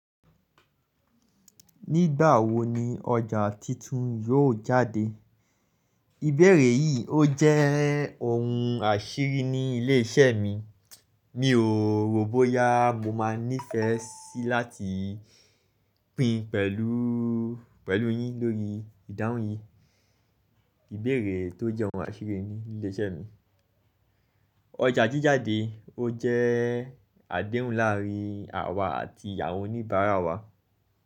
Nígbà wo ni ọjà titun yóò jáde? Ìbéèrè yìí ó jẹ́ ohun àṣírí ní ilé iṣẹ́ mi. Mi ò rò bóyá mo máa nífẹ̀ẹ́ sí láti pín pẹ̀lú, pẹ̀lú yín lórí ìdáhùn yìí. Ìbéèrè tó jẹ́ ohun àṣírí ní ilé iṣẹ́ mi. Ọjà ji jáde ó jẹ́ adéhùn láàárín àwa àti àwọn oníbàárà wa.